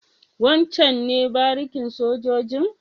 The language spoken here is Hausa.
Wancen ne barikin sojojin?